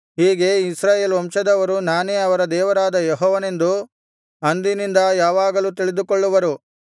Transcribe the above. ಹೀಗೆ ಇಸ್ರಾಯೇಲ್ ವಂಶದವರು ನಾನೇ ಅವರ ದೇವರಾದ ಯೆಹೋವನೆಂದು ಅಂದಿನಿಂದ ಯಾವಾಗಲೂ ತಿಳಿದುಕೊಳ್ಳುವರು